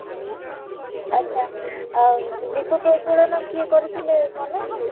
ଆଚ୍ଛା, ଅଂ ଦୀପ ପ୍ରଜ୍ବଳନ କିଏ କରିଥିଲେ ମନେ ଅଛି?